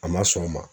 A ma sɔn o ma